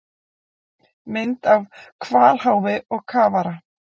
Mynd af hvalháfi og kafara.